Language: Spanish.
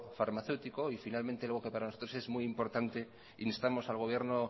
farmacéutico y finalmente lo que para nosotros es muy importante instamos al gobierno